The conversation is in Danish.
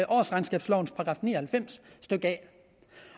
årsregnskabslovens § ni og halvfems a